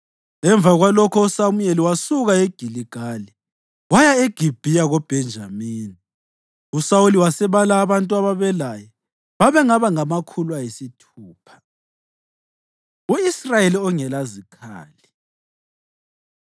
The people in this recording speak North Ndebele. Emva kwalokho uSamuyeli wasuka eGiligali waya eGibhiya koBhenjamini, uSawuli wasebala abantu ababelaye. Babengaba ngamakhulu ayisithupha. U-Israyeli Ongelazikhali